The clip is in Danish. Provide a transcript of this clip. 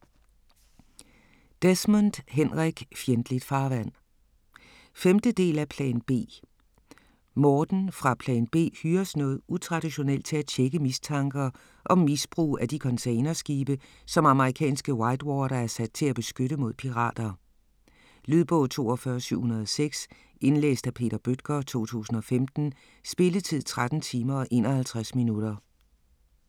Desmond, Henrik: Fjendtligt farvand 5. del af Plan B. Morten fra Plan B hyres noget utraditionelt til at tjekke mistanker om misbrug af de containerskibe, som amerikanske Whitewater er sat til at beskytte mod pirater. Lydbog 42706 Indlæst af Peter Bøttger, 2015. Spilletid: 13 timer, 51 minutter.